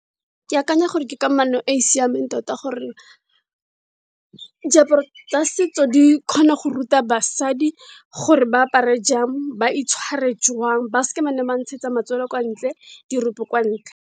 Ke akanya gore ke kamano e siameng tota gore, diaparo tsa setso di kgona go ruta basadi gore ba apare jang, ba itshware jwang, ba seke ba nne ba ntshetsa matswele kwa ntle, di rope kwa ntle.